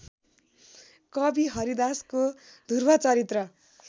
कवि हरिदासको धु्रवचरित्र